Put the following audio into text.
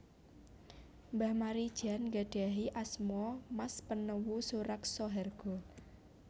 Mbah Maridjan gadhahi asma Mas Penewu Suraksohargo